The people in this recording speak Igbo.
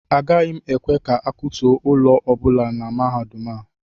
Agaghị m ekwe ka ịkwatuo ụlọ ọ bụla na mahadum a